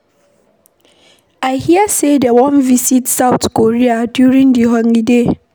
I hear say dey wan visit South Korea during the holiday